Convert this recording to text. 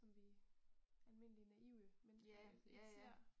Som vi almindelige naive mennesker ikke ser